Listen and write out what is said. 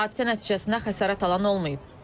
Hadisə nəticəsində xəsarət alan olmayıb.